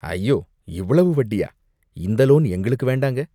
ஐயோ, இவ்வளவு வட்டியா, இந்த லோன் எங்களுக்கு வேண்டாங்க.